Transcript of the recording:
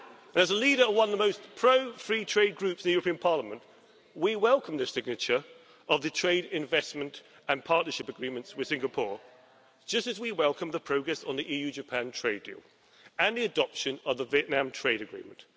As leader of one of the most pro free trade Groups in the European Parliament, we welcome the signature of the trade, investment and partnership agreements with Singapore, just as we welcome the progress on the EU Japan trade deal and the adoption of the Vietnam trade agreement.